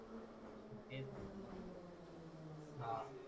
हाआ